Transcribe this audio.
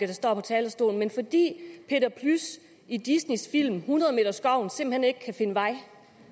der står på talerstolen men fordi peter plys i disneys film hundredemeterskoven simpelt hen ikke kan finde vej